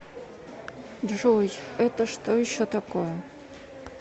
джой это что еще такое